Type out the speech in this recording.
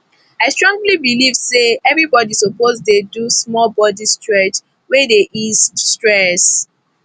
i strongly believe say everybody suppose dey do small body stretch wey dey ease stress